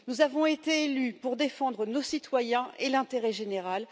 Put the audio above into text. Nous avons été élus pour défendre nos citoyens et l'intérêt général.